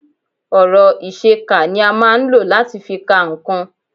Ọ̀rọ̀ ìṣe kà ni a máa ń lò láti fi ka nǹkan